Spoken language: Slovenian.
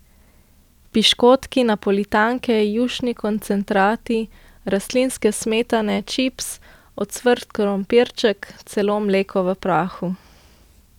Piškoti, napolitanke, jušni koncentrati, rastlinske smetane, čips, ocvrt krompirček, celo mleko v prahu.